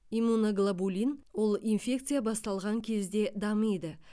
иммуноглобулин ол инфекция басталған кезде дамиды